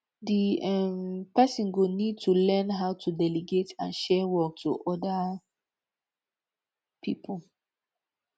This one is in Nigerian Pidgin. di um person go need to learn how to delegate and share work to oda pipo